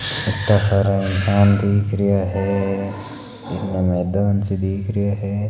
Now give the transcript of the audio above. किता सारा इंसान दिख रिया है इन मैदान सो दिख रियो है।